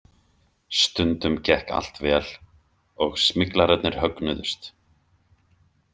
Stundum gekk allt vel og smyglararnir högnuðust.